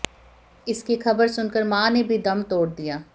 इसकी खबर सुनकर मां ने भी दम तोड़ दिया